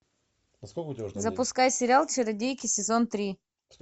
запускай сериал чародейки сезон три